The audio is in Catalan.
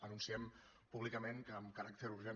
anunciem públicament que amb caràcter urgent